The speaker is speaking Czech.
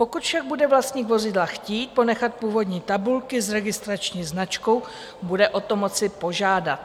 Pokud však bude vlastník vozidla chtít ponechat původní tabulky s registrační značkou, bude o to moci požádat.